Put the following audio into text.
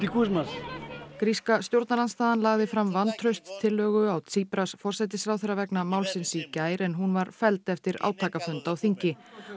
gríska stjórnarandstaðan lagði fram vantrauststillögu á forsætisráðherra vegna málsins í gær en hún var felld eftir átakafund á þingi